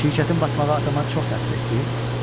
Şirkətin batmağı atama çox təsir etdi?